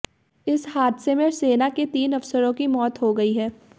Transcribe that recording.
इस हादसे में सेना के तीन अफसरों की मौत हो गई है